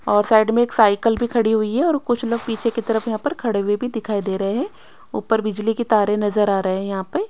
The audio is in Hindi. और साइड में एक साइकल भी खड़ी हुई है और कुछ लोग पीछे की तरफ यहां पर खड़े हुए भी दिखाई दे रहे हैं ऊपर बिजली की तारे नजर आ रहे हैं यहां पर।